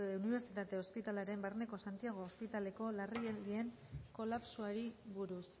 unibertsitate ospitalearen barneko santiago ospitaleko larrialdien kolapsoari buruz